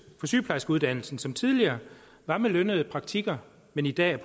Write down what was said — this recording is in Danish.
på sygeplejerskeuddannelsen som tidligere var med lønnet praktik men i dag er